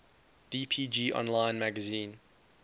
dpg online magazine